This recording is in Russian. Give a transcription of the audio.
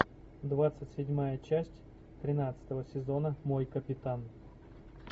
двадцать седьмая часть тринадцатого сезона мой капитан